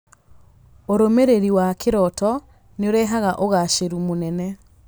Ũrũmĩrĩri wa kĩroto nĩ ũrehaga ũgaacĩru mũnene.